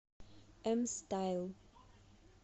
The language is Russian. эм стайл